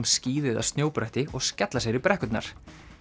skíði eða snjóbretti og skella sér í brekkurnar